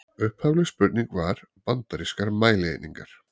Upphafleg spurning var: Bandarískar mælieiningar.